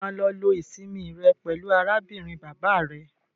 Ṣé o máa lọ lo ìsinmi rẹ pẹlú arábìnrin bàbá rẹ?